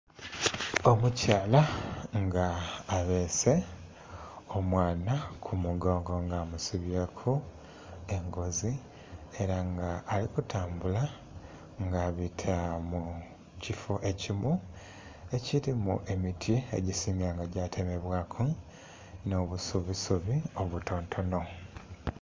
Omukyala nga abeese omwana ku mugongo nga amusibyeeku engozi ela nga ali kutambula nga abita mu kifo ekimu ekilimu emiti egisinga nga gyatemebwaku, nh'obusubisubi obutontono